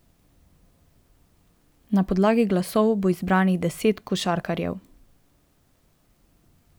Na podlagi glasov bo izbranih deset košarkarjev.